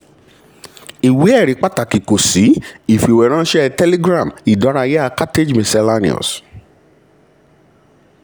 ìwé-ẹ̀rí pàtàkì kò sí: ìfìwéránṣẹ́ telegram ìdárayá cartage misc.